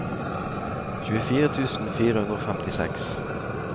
tjuefire tusen fire hundre og femtiseks